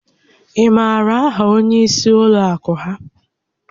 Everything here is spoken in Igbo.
Ị maara áhà onyé ísí ụlọ àkú ha?